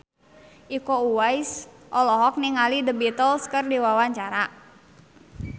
Iko Uwais olohok ningali The Beatles keur diwawancara